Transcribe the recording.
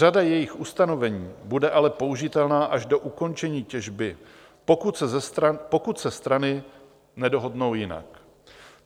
Řada jejích ustanovení bude ale použitelná až do ukončení těžby, pokud se strany nedohodnou jinak.